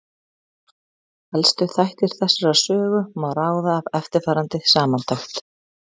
Helstu þætti þessarar sögu má ráða af eftirfarandi samantekt.